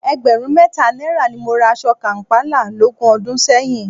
Ẹgbẹ̀rún mẹ́ta náírà ni mo ra aṣọ kàm̀pálà lógún ọdún sẹ́yìn